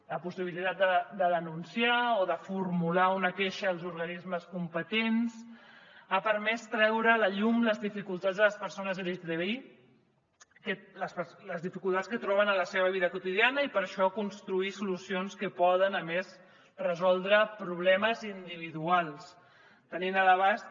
la possibilitat de denunciar o de formular una queixa als organismes competents ha permès treure a la llum les dificultats de les persones lgtbi les dificultats que troben en la seva vida quotidiana i per això construir solucions que poden a més resoldre problemes individuals tenint a l’abast